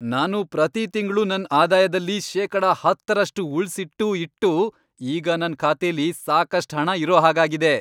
ನಾನು ಪ್ರತೀ ತಿಂಗ್ಳು ನನ್ ಆದಾಯದಲ್ಲಿ ಶೇಕಡ ಹತ್ತರಷ್ಟು ಉಳ್ಸಿಟ್ಟೂ ಇಟ್ಟೂ ಈಗ ನನ್ ಖಾತೆಲಿ ಸಾಕಷ್ಟ್ ಹಣ ಇರೋ ಹಾಗಾಗಿದೆ.